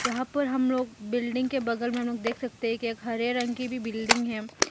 यहां पर हम लोग बिल्डिंग के बगल में हम लोग देख सकते हैं के एक हरे रंग की भी बिल्डिंग है।